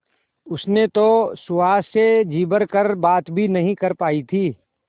उसने तो सुहास से जी भर कर बात भी नहीं कर पाई थी